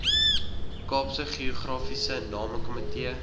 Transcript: kaapse geografiese namekomitee